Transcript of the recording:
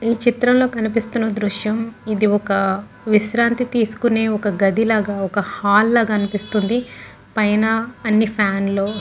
ఈ చిత్రం లో కనిపిస్తున్న దృశ్యం ఇది ఒక విశ్రాంతి తీసుకునే గది లాగా ఒక హాల్ లాగా అనిపిస్తుంది పైన అన్నీ ఫ్యాన్ లు --